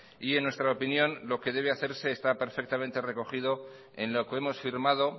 en nuestra opinión lo que debe hacerse está perfectamente recogido en lo que hemos firmado